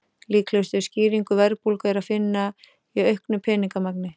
Líklegustu skýringu verðbólgu er að finna í auknu peningamagni.